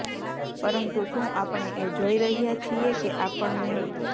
પરંતુ શું આપણે એ જોઇ રહ્યા છીએ કે આપણને